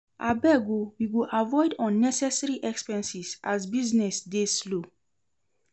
Abeg o, we go avoid unnecessary expenses as business dey slow.